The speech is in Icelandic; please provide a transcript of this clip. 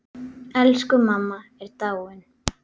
Elsku mamma er dáin.